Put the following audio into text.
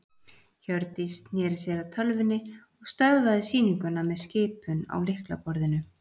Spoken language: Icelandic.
Hjördís sneri sér að tölvunni og stöðvaði sýninguna með skipun á lyklaborðinu.